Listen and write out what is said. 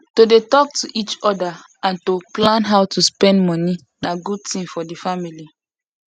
to dey talk to each other and to plan how to spend money na good thing for the family